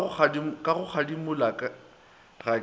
ka go kgadimola ga ke